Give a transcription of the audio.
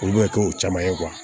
Olu bɛ kɛ o caman ye